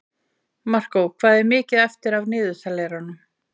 Markó, hvað er mikið eftir af niðurteljaranum?